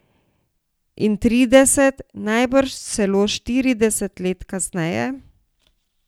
In trideset, najbrž celo štirideset let kasneje?